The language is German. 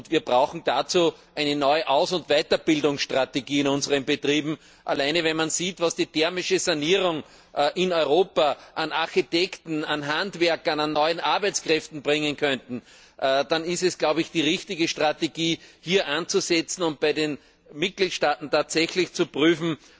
Wir brauchen dazu eine neue Aus und Weiterbildungsstrategie in unseren Betrieben. Allein wenn man sieht, was die thermische Sanierung in Europa an Architekten, an Handwerkern, an neuen Arbeitskräften bringen könnte, dann ist es die richtige Strategie, hier anzusetzen und bei den Mitgliedstaaten zu prüfen,